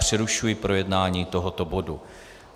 Přerušuji projednání tohoto bodu.